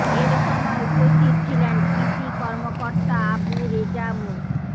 এ সময় উপস্থিত ছিলেন কৃষি কর্মকর্তা আবু রেজা মো